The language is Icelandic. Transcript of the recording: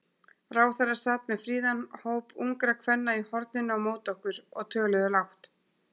Ráðherra sat með fríðan hóp ungra kvenna í horninu á móti okkur, og töluðu lágt.